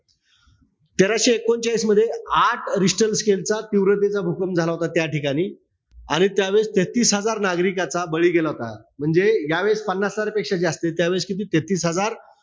तेराशे एकोणचाळीस मध्ये, आठ richter scale चा तीव्रतेचा भूकंप झाला होता त्याठिकाणी. आणि त्यावेळेस तेहेतीस हजार नागरिकाचा बळी गेला होता. म्हणजे यावेळेस पन्नास हजारपेक्षा जास्तीय. त्यावेळेस तेहेतीस हजार,